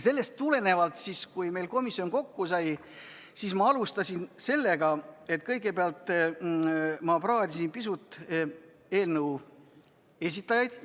Sellest tulenevalt, kui meie komisjon kokku sai, siis ma alustasin sellest, et kõigepealt ma praadisin pisut eelnõu esitajaid.